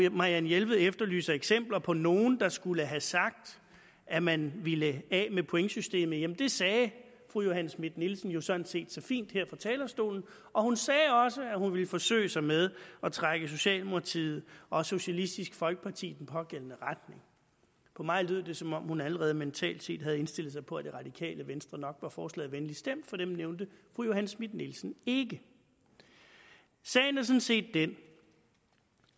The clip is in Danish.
marianne jelved efterlyser eksempler på nogle der skulle have sagt at man ville af med pointsystemet jamen det sagde fru johanne schmidt nielsen jo sådan set så fint her på talerstolen og hun sagde også at hun ville forsøge sig med at trække socialdemokratiet og socialistisk folkeparti i den pågældende retning for mig lød det som om hun allerede mentalt set havde indstillet sig på at det radikale venstre nok var forslaget venligt stemt for dem nævnte fru johanne schmidt nielsen ikke sagen er sådan set den